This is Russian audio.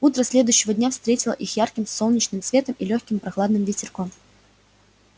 утро следующего дня встретило их ярким солнечным светом и лёгким прохладным ветерком